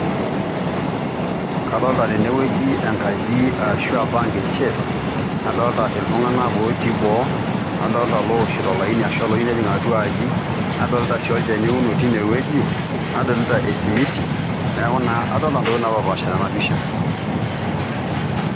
Kadolita tenewueji enkaji arashu bank e Chase, mnadolita itlung'anak ootii boo, nadolita ilooshito olaini arashu ilooyieu nejing' atua aji nadolita sii olchani ouno tinewueji, nadolita esimiti neeku naa adolita intokitin naapashipaasha tena pisha.